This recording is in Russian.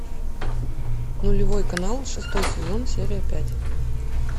нулевой канал шестой сезон серия пять